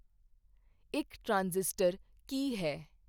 ਇੱਕ ਟਰਾਂਜ਼ਿਸਟਰ ਕੀ ਹੈ